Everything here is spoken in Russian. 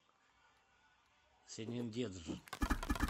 сенендедж